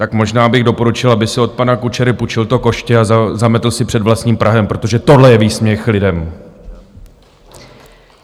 Tak možná bych doporučil, aby si od pana Kučery půjčil to koště a zametl si před vlastním prahem, protože tohle je výsměch lidem!